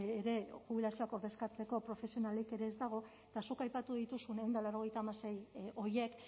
ere jubilazioak ordezkatzeko profesionalik ere ez dago eta zuk aipatu dituzun ehun eta laurogeita hamasei horiek